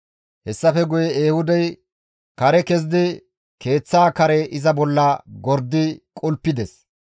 Hessafe guye Ehuudey kare kezidi keeththa kare iza bolla gordi qulpides.